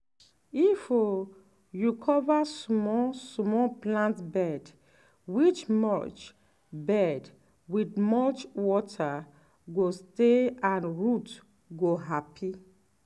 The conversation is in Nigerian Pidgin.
if um you cover small small plant bed with mulch bed with mulch water go stay and root go happy.